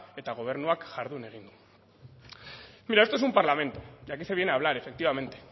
eta gobernuak jardun egin du mira esto es un parlamento y aquí se viene a hablar efectivamente